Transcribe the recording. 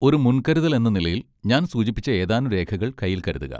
ഒരു മുൻകരുതൽ എന്ന നിലയിൽ, ഞാൻ സൂചിപ്പിച്ച ഏതാനും രേഖകൾ കൈയിൽ കരുതുക.